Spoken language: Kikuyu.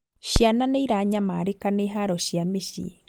Ciana nĩiranyamarĩka nĩ haro cia mĩciĩ